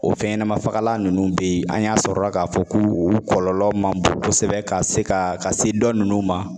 O fɛn ɲɛnama fagalan nunnu be ye , an y'a sɔrɔla ka fɔ ko u kɔlɔlɔ man bon kosɛbɛ ka se ka, ka se dɔ nunnu ma.